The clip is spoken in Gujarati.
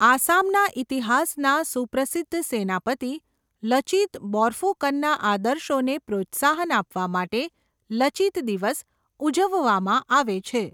આસામના ઈતિહાસના સુપ્રસિદ્ધ સેનાપતિ લચિત બોર્ફૂકનના આદર્શોને પ્રોત્સાહન આપવા માટે 'લચિત દિવસ' ઉજવવામાં આવે છે.